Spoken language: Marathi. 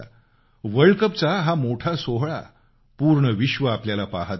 वर्ल्ड कपचा हा मोठा इव्हेंट पूर्ण विश्व आपल्याला पाहत होतं